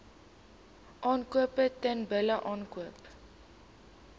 aankoop teelbulle aankoop